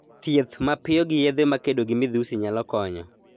Thieth mapiyo gi yedhe ma kedo gi midhusi nyalo konyo.